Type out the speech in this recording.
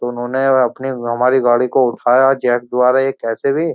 तो उन्होंने यार अपनी हमारी गाड़ी को उठाया जैक द्वारा या कैसे भी।